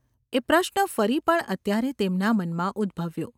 એ પ્રશ્ન ફરી પણ અત્યારે તેમના મનમાં ઉદ્‌ભવ્યો.